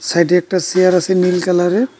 সাইডে একটা চেয়ার আছে নীল কালারের।